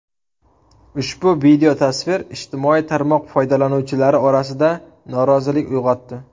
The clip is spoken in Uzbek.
Ushbu videotasvir ijtimoiy tarmoq foydalanuvchilari orasida norozilik uyg‘otdi.